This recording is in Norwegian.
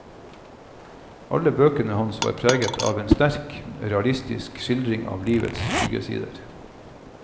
Alle bøkene hans er preget av en sterk, realistisk skildring fra livets skyggesider.